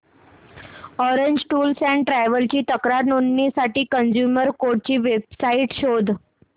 orange tours and travels ची तक्रार नोंदवण्यासाठी कंझ्युमर कोर्ट ची वेब साइट शोध